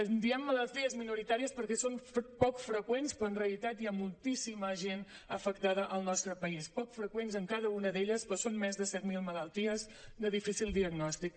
en diem malalties minoritàries perquè són poc freqüents però en realitat hi ha moltíssima gent afectada al nostre país poc freqüents en cada una d’elles però són més de set mil malalties de difícil diagnòstic